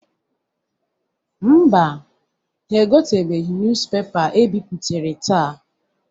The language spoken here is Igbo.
Mba, ha egoteghi nuz pepa e bipụtara taa.